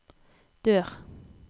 dør